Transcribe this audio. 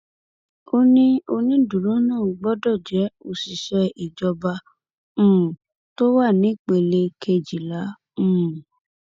ó ní onídùúró náà gbọdọ jẹ òṣìṣẹ ìjọba um tó wà nípele kejìlá um